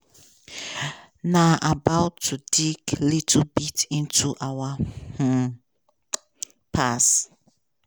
na about to dig little bit into our um past.